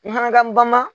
Manakan ba ma